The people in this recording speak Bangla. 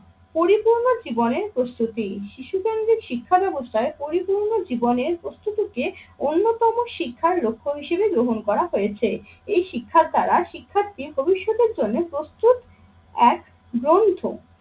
পরিপূর্ণ জীবনের প্রস্তুতি, শিশু কেন্দ্রিক শিক্ষা ব্যাবস্থায় পরিপূর্ণ জীবনের প্রস্তুতিকে অন্যতম শিক্ষার লক্ষ্য হিসেবে গ্রহণ করা হয়েছে। এই শিক্ষার দ্বারা শিক্ষার্থীর ভবিষ্যতের জন্য প্রস্তুত এক গ্রন্থ।